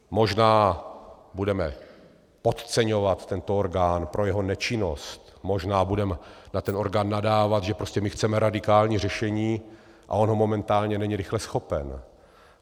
Možná budeme podceňovat tento orgán pro jeho nečinnost, možná budeme na ten orgán nadávat, že prostě my chceme radikální řešení a on ho momentálně není rychle schopen.